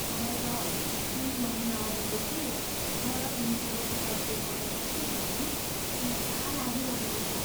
मलाई त तिन महिनाअघि जस्तै गलत मितिको टिकट बुक गरिन्छ कि भन्ने चिन्ता लागिरहेको छ।